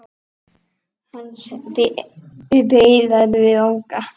Hans beið erfið ganga.